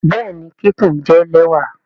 Bẹẹni kikun jẹ lẹwa.